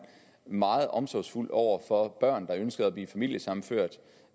meget omsorgsfuld over for børn der ønskede at blive familiesammenført